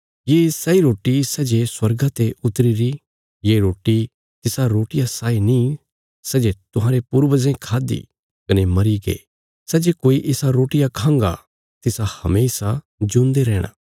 ये सैई रोटी सै जे स्वर्गा ते उतरी री ये रोटी तिसा रोटिया साई नीं सै जे तुहांरे पूर्वजें खाद्दि कने मरीगे सै जे कोई इसा रोटिया खांगा तिस हमेशा जिऊंदे रैहणा